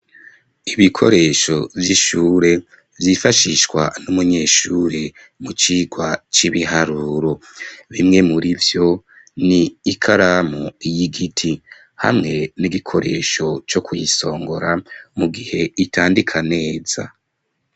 Ibikoresho vy' ishure, vyifashishwa n' umunyeshuri mu cirwa c' ibiharuro. Bimwe murivyo, ni ikaramu y' igiti hamwe n' igikoresho co kuyisongora, mu gihe itandika neza.